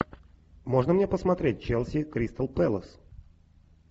можно мне посмотреть челси кристал пэлас